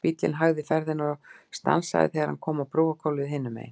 Bíllinn hægði ferðina og stansaði þegar hann kom á brúargólfið hinum megin.